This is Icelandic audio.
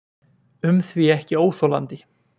um því ekki óþolandi.